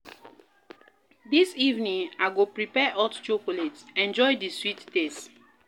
Dis evening, I go prepare hot chocolate, enjoy di sweet taste.